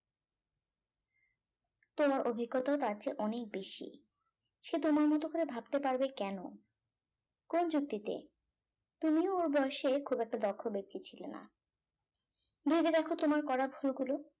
তোমার অভিজ্ঞও তার চেয়ে অনেক বেশি সে তোমার মত করে ভাবতে পারবে কেন কোন যুক্তিতে তুমিও ওর বয়েসে খুব একটা দক্ষ ব্যক্তি ছিলে না ভেবে দেখো তোমার করা ভুলগুলো